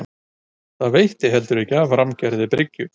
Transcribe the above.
Og það veitti heldur ekki af rammgerðri bryggju.